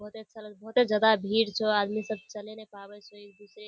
बहोत ही अच्छा बहुते जादा भीड़ छो आदमी सब चले न पाबे स एक दूसरे --